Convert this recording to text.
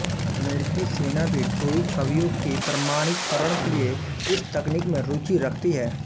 अमेरिकी सेना भी टोही छवियों के प्रमाणीकरण के लिए इस तकनीक में रुचि रखती है